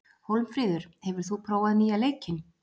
Hólmfríður, hefur þú prófað nýja leikinn?